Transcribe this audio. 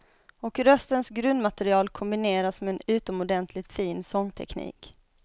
Och röstens grundmaterial kombineras med en utomordentligt fin sångteknik.